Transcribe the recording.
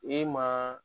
E ma